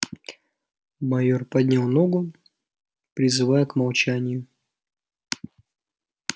майёр поднял ногу призывая к молчанию